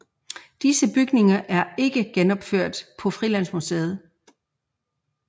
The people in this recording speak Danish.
Disse bygninger er ikke genopført på Frilandsmuseet